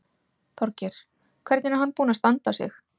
Þorgeir: Hvernig er hann búinn að standa sig?